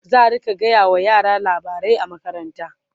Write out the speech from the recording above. zaa rinka gaya wa yara labarai a makaranta